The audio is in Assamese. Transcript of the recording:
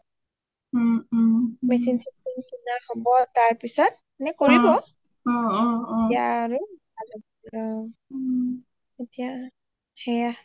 machine শচীন কিনা হব তাৰ পিছত মানে কৰিব তেতিয়া আৰু অ অ তেতিয়া আৰু ভাল হব তেতিয়া সেইয়া